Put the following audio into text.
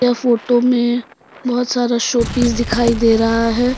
वो फोटो में बहुत सारा शो पीस दिखाई दे रहा है।